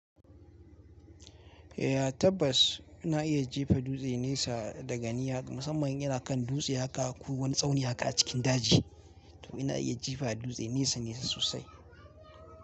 Eh tabbas na iya jifa dutse nesa daga niyya musamman inyana kan dutse haka ko wani tsauni haka a cikin daji. To ina iya jefa dutse nesa nesa sosai.